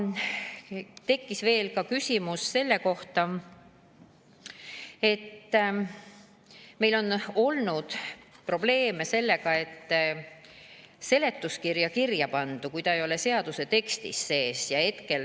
Tekkis veel küsimus selle kohta, et on olnud probleeme, kui seletuskirja kirjapandu ei ole seaduse tekstis sees.